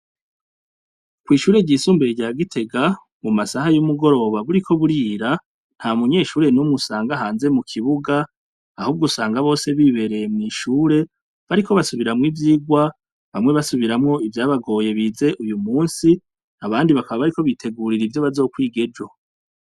Kw'ishure ry'isumbe rya gitega mu masaha y'umugoroba buriko burira nta munyeshure n'umusanga hanze mu kibuga ahubwo usanga bose bibereye mw'ishure bariko basubiramwo ivyirwa bamwe basubiramwo ivyabagoye bize uyu musi abandi bakaba bariko bitegurira ivyo bazokwigejo.